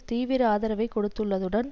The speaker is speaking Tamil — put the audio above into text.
தீவிர ஆதரவைக் கொடுத்துள்ளதுடன்